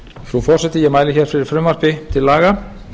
frú forseti ég mæli hér fyrir frumvarpi til laga